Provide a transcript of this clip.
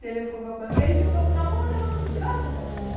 telefonou para mim, aí ficamos namorando, sabe?